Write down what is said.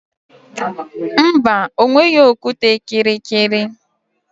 Mba, o nweghị okwute kịrịkịrị